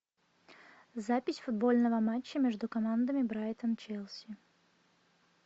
запись футбольного матча между командами брайтон челси